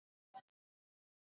Ógnvænlegt fall niður fjallshlíð